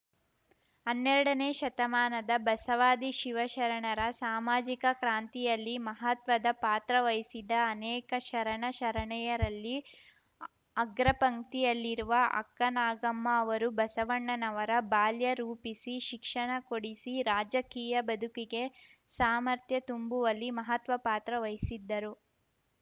ಹನ್ನೆರಡನೇ ಶತಮಾನದ ಬಸವಾದಿ ಶಿವಶರಣರ ಸಾಮಾಜಿಕ ಕ್ರಾಂತಿಯಲ್ಲಿ ಮಹತ್ವದ ಪಾತ್ರವಹಿಸಿದ ಅನೇಕ ಶರಣ ಶರಣೆಯರಲ್ಲಿ ಅಗ್ರಪಂಕ್ತಿಯಲ್ಲಿರುವ ಅಕ್ಕನಾಗಮ್ಮ ಅವರು ಬಸವಣ್ಣನವರ ಬಾಲ್ಯ ರೂಪಿಸಿ ಶಿಕ್ಷಣ ಕೊಡಿಸಿ ರಾಜಕೀಯ ಬದುಕಿಗೆ ಸಾಮರ್ಥ್ಯ ತುಂಬುವಲ್ಲಿ ಮಹತ್ವ ಪಾತ್ರ ವಹಿಸಿದ್ದರು